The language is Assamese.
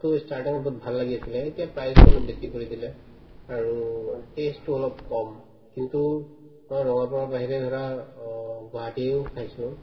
তো starting ত তো বহুত ভাল লাগি আছিলে এতিয়া price তো অলপ বেচি কৰি দিলে আৰু taste তো অলপ কম কিন্তু মই ৰঙাপাৰাৰ বাহিৰে ধৰা গুৱাহাটীও খাইছো